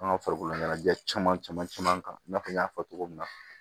An ka farikoloɲɛnajɛ caman caman kan i n'a fɔ n y'a fɔ cogo min na